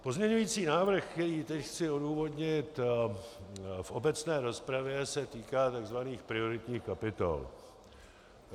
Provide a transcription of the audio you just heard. Pozměňující návrh, který teď chci odůvodnit v obecné rozpravě, se týká tzv. prioritních kapitol.